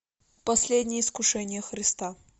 последнее искушение христа